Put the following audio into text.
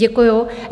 Děkuju.